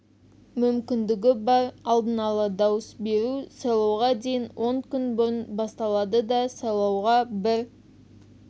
мүмкіндігі бар алдын ала дауыс беру сайлауға дейін он күн бұрын басталады да сайлауға бір